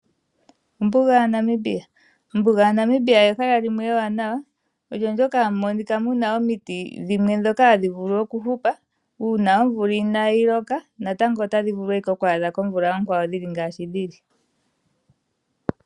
Ombuga yaNamibia. Ombuga ya Namibia ehala limwe ewanawa omo moka hamu monika muna omiti dhimwe ndhoka hadhi vulu okuhupa uuna omvula inayi loka natango otadhi vulu oku adha komvula onkwawo dhili ngashi dhili.